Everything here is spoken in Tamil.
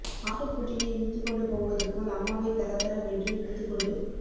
ஆட்டுக் குட்டியை இழுத்துக் கொண்டு போவது போல் அம்மாவைத் தரதர வென்று இழுத்துக் கொண்டு